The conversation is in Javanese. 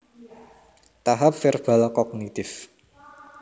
Tahap Verbal Kognitif